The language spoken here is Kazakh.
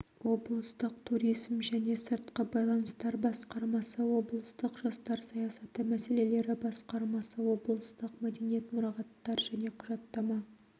облыстық туризм және сыртқы байланыстар басқармасы облыстық жастар саясаты мәселелері басқармасы облыстық мәдениет мұрағаттар және құжаттама